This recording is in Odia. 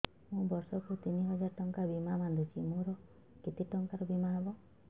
ମୁ ବର୍ଷ କୁ ତିନି ହଜାର ଟଙ୍କା ବୀମା ବାନ୍ଧୁଛି ମୋର କେତେ ଟଙ୍କାର ବୀମା ହବ